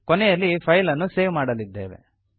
ಕೊನೆಯಲ್ಲಿ ಫೈಲ್ ಅನ್ನು ಸೇವ್ ಮಾಡಲಿದ್ದೇವೆ